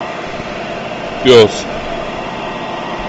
пес